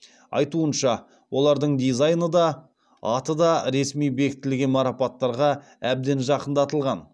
айтуынша олардың дизайны да аты да ресми бекітілген марапаттарға әбден жақындатылған